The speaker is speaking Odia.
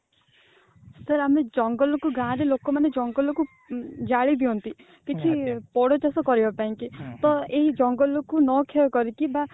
sir ଆମେ ଜଙ୍ଗଲ କୁ ଗାଁର ଲୋକମାନେ ଜଙ୍ଗଲ କୁ ଉଁ ଜାଳି ଦିଅନ୍ତି କିଛି ପୋଡୁଚାଷ କରିବା ପାଇଁ କି ତ ଏହି ଜନଗଳ କୁ ନ କ୍ଷୟ କରିକି ବା